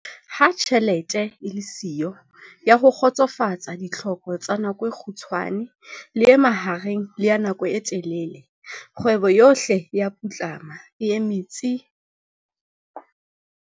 Ha tjhelete e le siyo ya ho kgotsofatsa ditlhoko tsa nako e kgutshwane, le e mahareng le ya nako e telele, kgwebo yohle e tla putlama, e eme tsi.